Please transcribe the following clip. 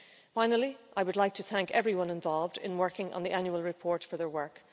Finally, I would like to thank everyone involved in working on the annual report for their work.